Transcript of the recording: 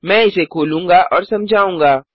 मैं इसे खोलूँगा और समझाऊँगा